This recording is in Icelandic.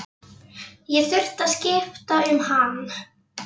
Ég þurfti að skipta um hann.